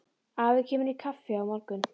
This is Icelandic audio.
Afi kemur í kaffi á morgun.